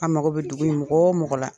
An mago bɛ dugu in mɔgɔ o mɔgɔ la.